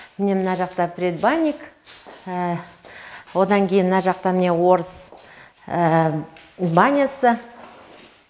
міне мына жақта предбанник одан кейін мына жақта міне орыс банясы